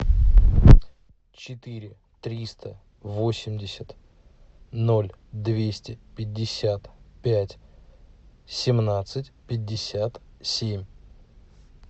четыре триста восемьдесят ноль двести пятьдесят пять семнадцать пятьдесят семь